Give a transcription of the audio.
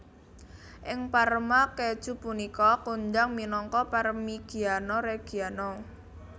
Ing Parma keju punika kondhang minangka Parmigiano Reggiano